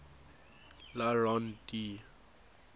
le rond d